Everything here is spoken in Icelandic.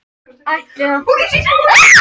Ætli þýði nú nokkuð að byggja þarna? segir hann.